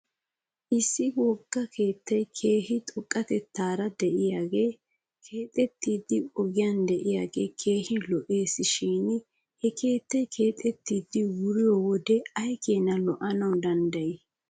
Issi wogga keettay keehi xoqqatetaara de'iyaagee keexettiidi ogiyan de'iyaagee keehi lo'es. Shin he keettay keexettidi wuriyoo wode aykeenna lo'anaw de'ii.